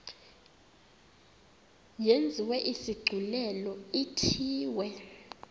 yenziwe isigculelo ithiwe